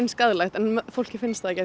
skaðlegt en fólki finnst það ekki